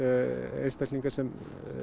einstaklinga sem